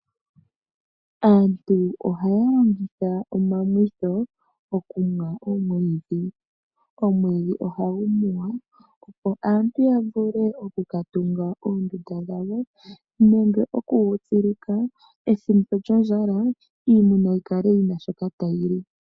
Aantu ohaya longitha omwamwitho okumwa oomwiidhi. Omwiidhi ohagu muwa opo aantu yamvule okukatunga oondunda dhawo nenge okugu tsilika ethimbo lyondjala iimuna yikale yina shoka tayili